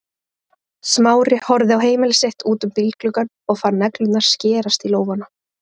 Smári horfði á heimili sitt út um bílgluggann og fann neglurnar skerast í lófana.